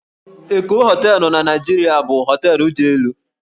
Eko Hóteélụ̀ na Naịjirịa bụ hóteélụ̀ dị elu